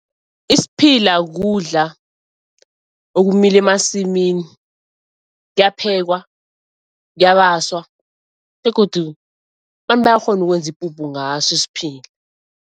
Isiphila kudla okumila emasimini kuyaphekwa, kuyabaswa, begodu bantu bayakghona ukwenza ipuphu ngaso isiphila.